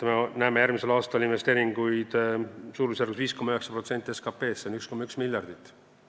Me näeme järgmisel aastal investeeringuid suurusjärgus 5,9% SKP-st, s.o 1,1 miljardit.